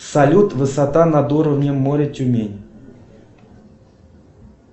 салют высота над уровнем моря тюмень